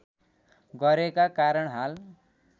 गरेका कारण हाल